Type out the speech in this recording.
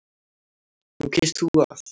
Nú kýst þú að.